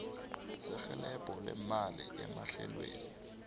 serhelebho lemali emahlelweni